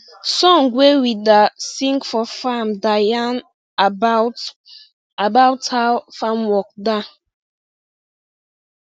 song wey we da sing for farm da yan about about how farm work da